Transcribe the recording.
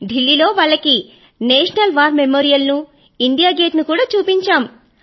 ఢిల్లీలో వాళ్ళకి national war memorial నూ ఇండియా గేట్ నూ చూపెట్టాము